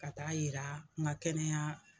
Ka taa yira n ka kɛnɛya